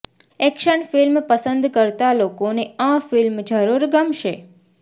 action film પસંદ કરતા લોકોને આ ફિલ્મ જરૂર ગમશે